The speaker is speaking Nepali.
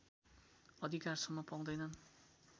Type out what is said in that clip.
अधिकारसम्म पाउँदैनन्